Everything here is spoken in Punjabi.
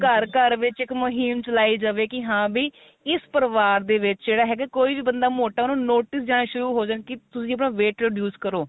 ਘਰ ਘਰ ਵਿੱਚ ਇੱਕ ਮੁਹਿਮ ਚਲਾਈ ਜਾਵੇ ਕੀ ਹਾਂ ਵੀ ਇਸ ਪਰਿਵਾਰ ਦੇ ਵਿੱਚ ਜਿਹੜਾ ਹੈਗਾ ਕੋਈ ਵੀ ਬੰਦਾ ਮੋਟਾ ਉਹਨੂੰ notice ਜਾਰੀ ਹੋਣਾ ਸ਼ੁਰੂ ਹੋ ਜਾਣ ਕੀ ਤੁਸੀਂ ਆਪਣਾ weight reduce ਕਰੋ